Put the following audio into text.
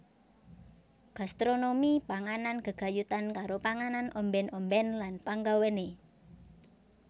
Gastronomi panganan gegayutan karo panganan ombèn ombèn lan panggawéné